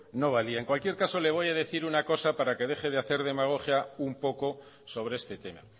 no valía en cualquier caso le voy a decir una cosa para que deje de hacer demagogia un poco sobre este tema